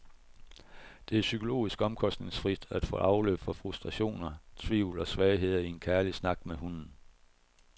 Det er psykologisk omkostningsfrit at få afløb for frustrationer, tvivl og svagheder i en kærlig snak med hunden.